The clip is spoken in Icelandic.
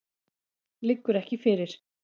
Liggur ekki fyrir.